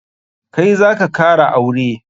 Kai zaka kara aure?